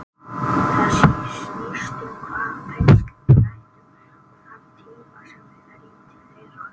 Það snýst um hvaða tengsl við ræktum og þann tíma sem við verjum til þeirra.